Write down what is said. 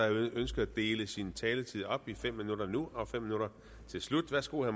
ønsket at dele sin taletid op i fem minutter nu og fem minutter til slut værsgo